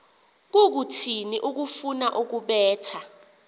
kukuthini ukufuna ukubetha